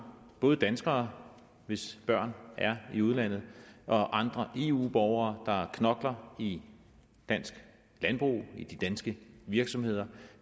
både danskere hvis børn er i udlandet og andre eu borgere der knokler i dansk landbrug i de danske virksomheder